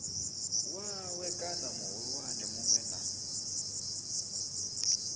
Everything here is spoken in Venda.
wawe kana muhulwane munwe na